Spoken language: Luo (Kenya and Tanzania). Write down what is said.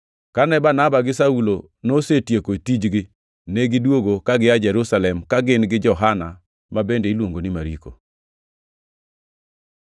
Kane Barnaba gi Saulo nosetieko tijgi, negidwogo ka gia Jerusalem ka gin gi Johana ma bende iluongo ni Mariko.